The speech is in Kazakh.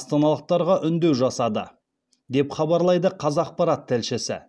астаналықтарға үндеу жасады деп хабарлайды қазақпарат тілшісі